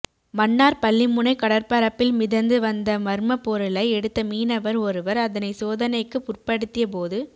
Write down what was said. மன்னார் பள்ளிமுனை கடற்பரப்பில் மிதந்து வந்த மர்மப் பொருளை எடுத்த மீனவர் ஒருவர் அதனை சோதனைக்கு உற்படத்திய போது